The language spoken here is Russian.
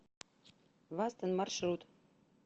вастон маршрут